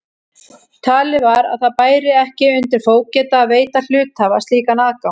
Talið var að það bæri ekki undir fógeta að veita hluthafa slíkan aðgang.